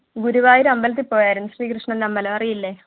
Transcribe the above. ഗുരുവായൂർ അമ്പലത്തിൽ പോയാരുന്നു ശ്രി കൃഷ്ണന്‍ടെ അമ്പലം അറിയില്ലേ?